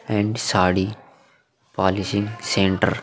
And sari polishing centre.